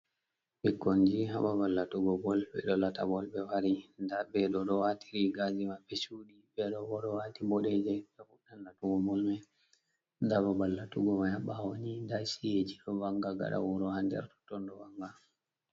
Ɓikkonji ha babal latugo bol, ɓe ɗo lata bol ɓe wari nda ɓe ɗo waati rigaji maɓɓe chuuɗi, ɓe ɗo bo ɗo waati boɗeeje, ɓe fuɗɗan latugo bol mai, nda babal latugo mai ha ɓaawo ni, nda ci'e ji ɗo wanga gaɗa wuro ha nder totton ɗo wanga.